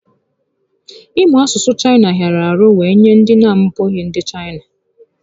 Ị mụ asụsụ Chaịna hịara ahụ wee nye ndị na abụghị ndị Chaịna